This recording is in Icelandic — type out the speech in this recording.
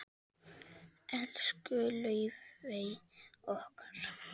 Elsku Laufey okkar.